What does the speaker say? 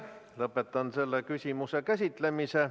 Lõpetan selle küsimuse käsitlemise.